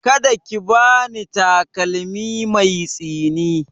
Ka da ki ba ni takalmi mai tsini!